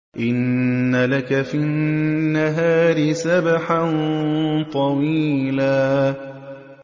إِنَّ لَكَ فِي النَّهَارِ سَبْحًا طَوِيلًا